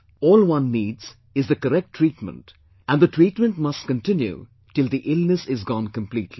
All one needs is the correct treatment and the treatment must continue till the illness is gone completely